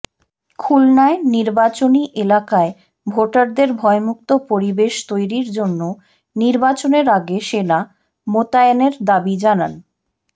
খুলনায় নির্বাচনি এলাকায় ভোটারদের ভয়মুক্ত পরিবেশ তৈরির জন্য নির্বাচনের আগে সেনা মোতায়েনের দাবি জানান